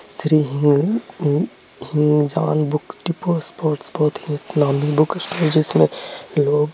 श्री हिग हिंग-हिंग- जान बुक डिपो स्पोर्ट्स बहुत ही नामी बुक स्टोर्स जिसमे लोग--